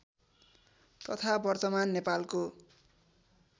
तथा वर्तमान नेपालको